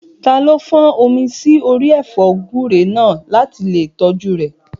Taló fọ́n omi sí orí ẹ̀fọ́ gúúre náà láti lè tọ́jú rẹ̀?